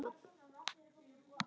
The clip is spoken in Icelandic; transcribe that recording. Eftir hádegi kom Jói.